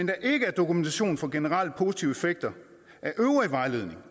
der ikke er dokumentation for generelle positive effekter af øvrig vejledning